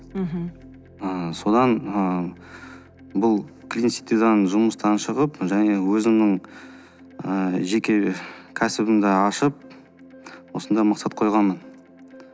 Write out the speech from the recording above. мхм ы содан ы бұл клинситидан жұмыстан шығып және өзімнің ы жеке кәсібімді ашып осындай мақсат қойғанмын